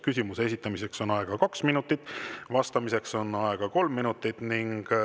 Küsimuse esitamiseks on aega kaks minutit, vastamiseks on aega kolm minutit.